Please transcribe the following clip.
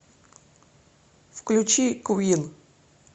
включи куин